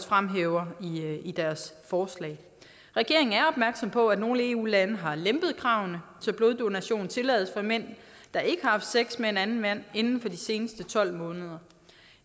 fremhæver i deres forslag regeringen er opmærksom på at nogle eu lande har lempet kravene så bloddonationen tillades fra mænd der ikke har haft sex med en anden mand inden for de seneste tolv måneder